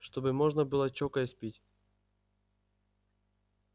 чтобы можно было чокаясь пить